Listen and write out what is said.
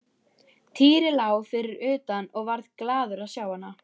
Týri lá fyrir utan og varð glaður að sjá hana.